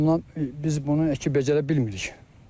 Bu baxımdan biz bunu əkib-becərə bilmirik.